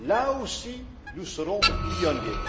Là aussi, nous serons pionniers.